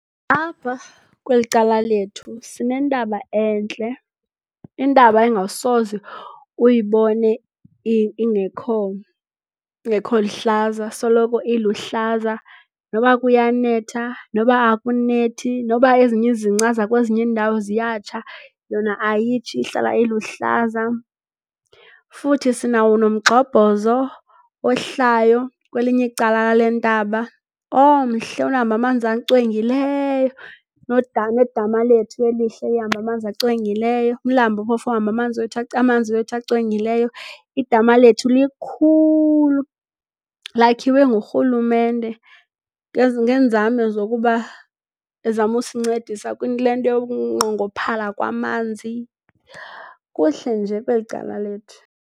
Apha kweli cala lethu sinentaba entle, intaba engasoze uyibone ingekho luhlaza. Soloko iluhlaza noba kuyanetha noba akunethi, noba ezinye izingca zakwezinye iindawo ziyatsha, yona ayitshi ihlala iluhlaza. Futhi sinawo nomgxobhozo ohlayo kwelinye icala lale ntaba omhle ohamba amanzi acwengileyo nedama lethu elihle elihamba amanzi acwengileyo. Umlambo phofu ohamba amanzi wethu amanzi wethu acwengileyo. Idama lethu likhulu lakhiwe ngurhulumente ngeenzame zokuba ezama usincedisa kule nto yokunqongophala kwamanzi. Kuhle nje kweli cala lethu.